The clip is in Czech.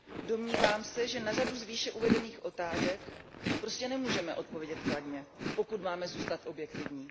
Domnívám se, že na řadu z výše uvedených otázek prostě nemůžeme odpovědět kladně, pokud máme zůstat objektivní.